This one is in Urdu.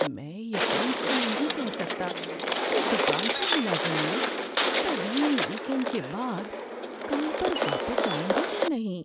میں یقین سے نہیں کہہ سکتا کہ دکان کے ملازمین طویل ویک اینڈ کے بعد کام پر واپس آئیں گے یا نہیں۔